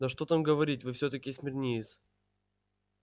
да что там говорить вы всё-таки смирниец